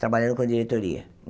Trabalhando com a diretoria.